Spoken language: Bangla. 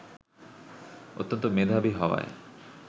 অত্যন্ত মেধাবী হওয়ায়